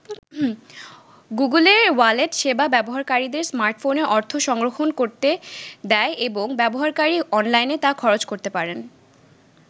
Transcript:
গুগলের ওয়ালেট সেবা ব্যবহারকারীদের স্মার্টফোনে অর্থ সংরক্ষণ করতে দেয় এবং ব্যবহারকারী অনলাইনে তা খরচ করতে পারেন।